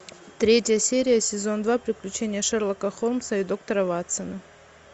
третья серия сезон два приключения шерлока холмса и доктора ватсона